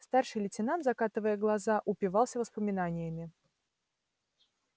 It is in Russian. старший лейтенант закатывая глаза упивался воспоминаниями